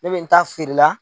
Ne bɛ n ta feere la